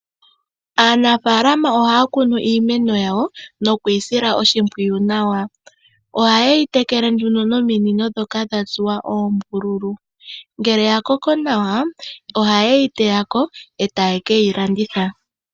Aanafalama oha ya kunu iimeno yawo nokuyi sila oshimpwiyu nawa. Oha ye yi tekele nduno nominino dhoka dha tsuwa oombululu. Ngele ya koko nawa, oha yi teya ko eta ye yi keyi landitha.